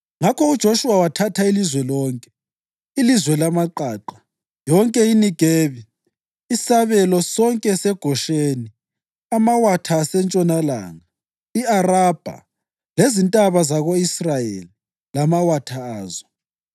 Ngakho uJoshuwa wathatha ilizwe lonke: ilizwe lamaqaqa, yonke iNegebi, isabelo sonke seGosheni, amawatha asentshonalanga, i-Arabha, lezintaba zako-Israyeli lamawatha azo,